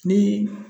Ni